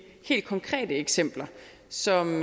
helt konkrete eksempler som